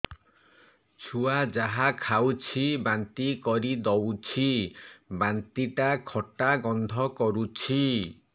ଛୁଆ ଯାହା ଖାଉଛି ବାନ୍ତି କରିଦଉଛି ବାନ୍ତି ଟା ଖଟା ଗନ୍ଧ କରୁଛି